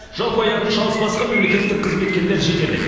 жалпы аяғын шалыс басқан мемлекеттік қызметкерлер жетерлік